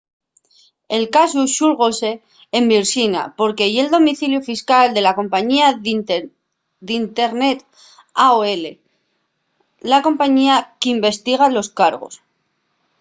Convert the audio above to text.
el casu xulgóse en virxinia porque ye’l domiciliu fiscal de la compañía d’internet aol la compañía qu’investiga los cargos